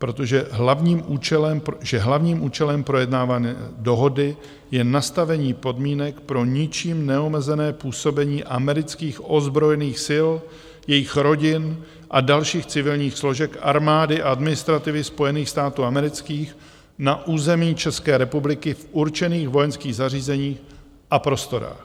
Protože hlavním účelem projednávané dohody je nastavení podmínek pro ničím neomezené působení amerických ozbrojených sil, jejich rodin a dalších civilních složek armády a administrativy Spojených států amerických na území České republiky v určených vojenských zařízeních a prostorách.